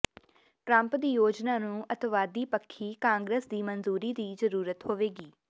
Trump ਦੀ ਯੋਜਨਾ ਨੂੰ ਅਤਿਵਾਦੀ ਪੱਖੀ ਕਾਂਗਰਸ ਦੀ ਮਨਜ਼ੂਰੀ ਦੀ ਜ਼ਰੂਰਤ ਹੋਏਗੀ